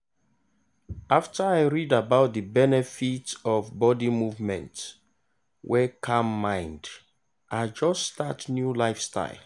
after i read about the benefit of body movement wey calm mind i just start new lifestyle.